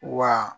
Wa